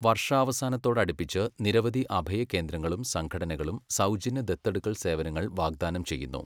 വർഷാവസാനത്തോടടുപ്പിച്ച്, നിരവധി അഭയകേന്ദ്രങ്ങളും സംഘടനകളും സൗജന്യ ദത്തെടുക്കൽ സേവനങ്ങൾ വാഗ്ദാനം ചെയ്യുന്നു.